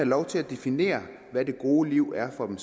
lov til at definere hvad det gode liv er for dem